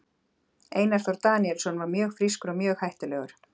Einar Þór Daníelsson var mjög frískur og mjög hættulegur.